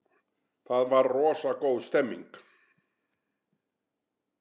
Það var rosa góð stemning.